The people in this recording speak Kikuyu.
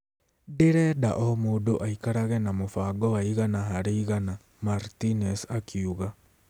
Ndĩrenda o mũndũ aikarage na mũbango wa igana harĩ igana,' Martinez akiuga.